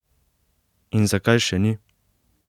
In zakaj še ni?